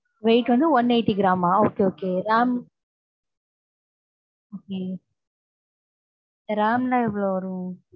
weight வந்து one eighty gram அ okay, okay ram okay ram லாம் எவளோ வரும்.